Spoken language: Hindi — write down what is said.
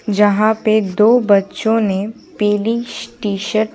जहां पे दो बच्चों ने पीली टी-शर्ट--